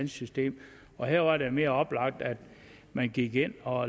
system her var det mere oplagt at man gik ind og